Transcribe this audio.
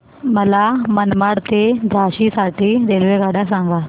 मला मनमाड ते झाशी साठी रेल्वेगाड्या सांगा